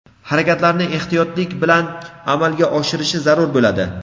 harakatlarni ehtiyotlik bilan amalga oshirishi zarur bo‘ladi.